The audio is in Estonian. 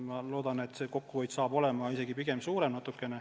Ma loodan, et kokkuhoid saab olema pigem natuke suurem.